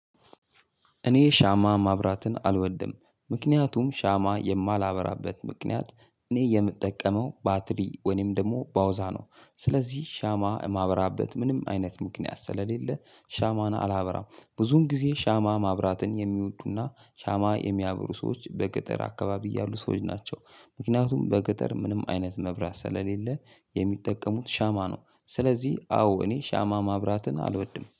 እኔ ሻማ ማብራትን አልወድም ምክንያቱም ሻማ የማላበራበት ምክንያት እኔ የምጠቀመው ባትሪ ወይም ደግሞ ባውዛ ነው። ስለዚህ ሻማ የማበራበት ምንም አይነት ምክንያት ስለሌለ ሻማናን አላበራም። ብዙን ጊዜ ሻማ ማብራትን የሚወዱና ሻማ የሚያብሩ ሰዎች በገጠር አካባቢ ያሉ ሰዎች ናቸው። ምክንያቱም በገጠር ምንም አይነት መብራት ስለሌለ የሚጠቀሙት ሻማ ነው። ስለዚህ አዎ እኔ ሻማ ማብራትን አልወድም